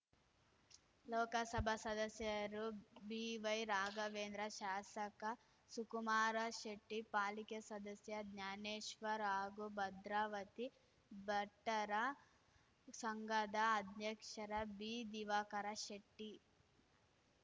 ಲೋಕಸಭಾ ಸದಸ್ಯರು ಬಿವೈ ರಾಘವೇಂದ್ರ ಶಾಸಕ ಸುಕುಮಾರ ಶೆಟ್ಟಿ ಪಾಲಿಕೆ ಸದಸ್ಯ ಜ್ಞಾನೇಶ್ವರ್ ಹಾಗೂ ಭದ್ರಾವತಿ ಬಟ್ಟರ ಸಂಘದ ಅಧ್ಯಕ್ಷರ ಬಿ ದಿವಾಕರ ಶೆಟ್ಟಿ